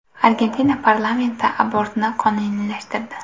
Argentina parlamenti abortni qonuniylashtirdi.